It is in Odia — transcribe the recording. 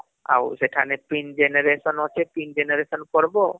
ଶେଖାନେ pin generation ଅଛି pin generation କରବ